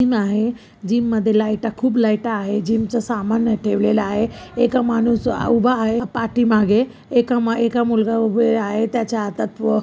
gym आहे gym मध्ये लाइटा खूप लाइटा आहे जिम च सामान अय ठेवलेल आहे एका माणूस उभा आहे पाठीमागे एका म एका मुलगा उभे आहे त्याच्या हातात--